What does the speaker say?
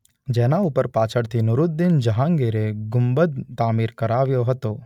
જેના ઉપર પાછળથી નૂરુદ્દીન જહાંગીરે ગુંબદ તામીર કરાવ્યો છે.